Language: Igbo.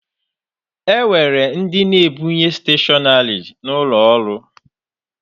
E nwere ndị na-ebunye steshọnarị n'ụlọ ọrụ.